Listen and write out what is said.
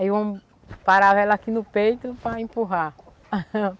Aí eu parava ela aqui no peito para empurrar.